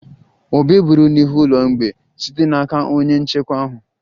Obi eburu n'ihu ụlọ mgbei site n'aka onye nchekwa ahụ